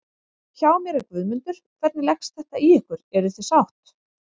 Hjá mér er Guðmundur, hvernig leggst þetta í ykkur, eruð þið sátt?